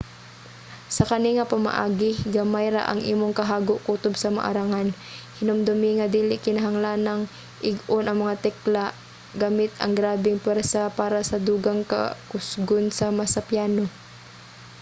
sa kani nga pamaagi gamay ra ang imong kahago kutob sa maarangan. hinumdumi nga dili kinahanglanng ig-on ang mga tekla gamit ang grabeng puwersa para sa dugang kakusgon sama sa piano